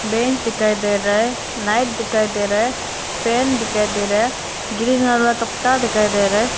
Bench दिखाई दे रहा है लाइट दिखाई दे रहा है फैन दिखाई दे रहा है ग्रीन का तख्ता दिखाई दे रहा है।